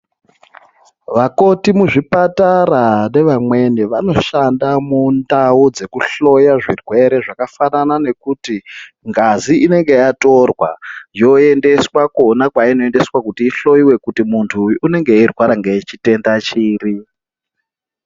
Vakoti muzvipatara nevamweni vanoshanda mundau dzekuhloya zvirwere zvakafanana nekuti ngazi inenge yatorwa yoendeswa kwona kweinoendeswa kuti ihloiwe kuti muntu uyu unonga eirwara ngechitenda chiri.